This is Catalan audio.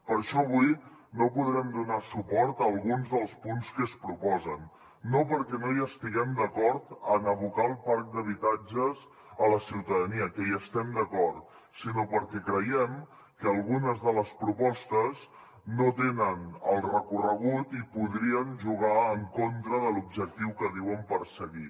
per això avui no podrem donar suport a alguns dels punts que es proposen no perquè no hi estiguem d’acord en abocar el parc d’habitatges a la ciutadania que hi estem d’acord sinó perquè creiem que algunes de les propostes no tenen el recorregut i podrien jugar en contra de l’objectiu que diuen perseguir